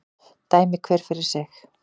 Dæmi hver fyrir sig